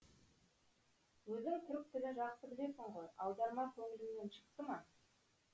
өзің түрік тілін жақсы білесің ғой аударма көңіліңнен шықты ма